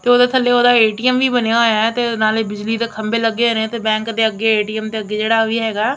ਤੇ ਉਹਦੇ ਥੱਲੇ ਉਹਦਾ ਏ_ਟੀ_ਐਮ ਵੀ ਬਣਿਆ ਹੋਇਆ ਤੇ ਨਾਲੇ ਬਿਜਲੀ ਦੇ ਖੰਬੇ ਲੱਗੇ ਹੋਏ ਨੇ ਤੇ ਬੈਂਕ ਦੇ ਅੱਗੇ ਏ_ਟੀ_ਐਮ ਤੇ ਅੱਗੇ ਜਿਹੜਾ ਵੀ ਹੈਗਾ --